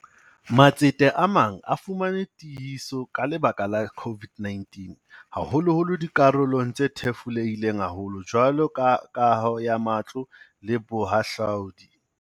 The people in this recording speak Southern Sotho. Matsete a mang a fumane tiehiso ka lebaka la COVID-19, haholoholo dikarolong tse thefulehileng haholo jwalo ka kaho ya matlo le bohahlaodi.